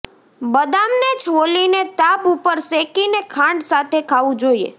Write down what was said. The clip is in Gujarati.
બદામને છોલીને તાપ ઉપર શેકીને ખાંડ સાથે ખાવું જોઈએ